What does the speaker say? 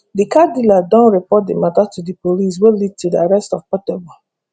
di car dealer den report di matter to di police wey lead to di arrest of portable